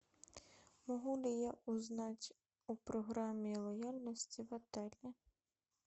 могу ли я узнать о программе лояльности в отеле